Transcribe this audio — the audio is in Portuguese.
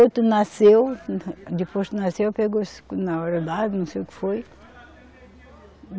Outro nasceu, depois que nasceu, pegou não sei o que foi.